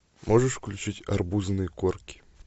можешь включить арбузные корки